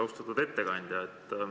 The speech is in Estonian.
Austatud ettekandja!